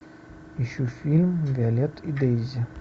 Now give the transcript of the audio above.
ищу фильм виолетта и дейзи